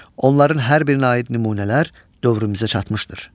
Onların hər birinə aid nümunələr dövrümüzə çatmışdır.